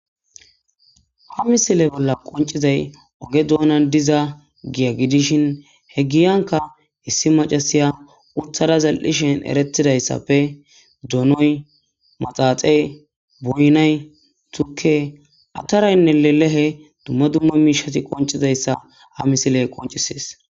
Ha misile bola qoncizay oge bola dizza giya gidishin ha giyanka issi macaasiya utada zal'shin eretidaysappe donoy maxaxey boynay tukey atapraynne lelehey dumma dumma mishey qoncizapyssa ha misilley qoncisses.